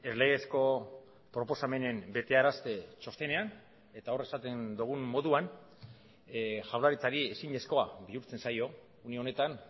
legezko proposamenen betearazte txostenean eta hor esaten dugun moduan jaurlaritzari ezinezkoa bihurtzen zaio une honetan